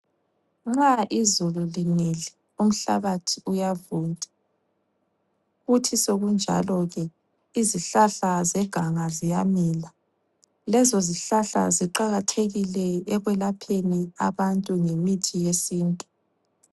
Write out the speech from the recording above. Nxa izulu linile umhlabathi uyavunda. Kuthi sokunjalo ke izihlahla zeganga ziyamila. Lezo zihlahla ziqakathekile ekwelapheni abantu ngemithi yesintu.